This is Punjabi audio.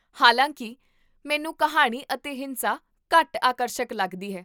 ਹਾਲਾਂਕਿ, ਮੈਨੂੰ ਕਿਹਾਣੀ ਅਤੇ ਹਿੰਸਾ ਘੱਟ ਆਕਰਸ਼ਕ ਲੱਗਦੀ ਹੈ